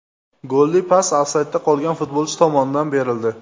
Golli pas ofsaydda qolgan futbolchi tomonidan berildi.